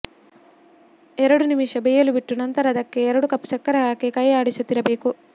ಎರಡು ನಿಮಿಷ ಬೇಯಲು ಬಿಟ್ಟು ನಂತರ ಅದಕ್ಕೆ ಎರಡು ಕಪ್ ಸಕ್ಕರೆ ಹಾಕಿ ಕೈ ಆಡಿಸುತ್ತಿರಬೇಕು